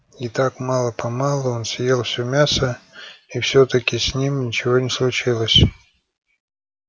и так мало помалу он съел всё мясо и всё таки с ним ничего не случилось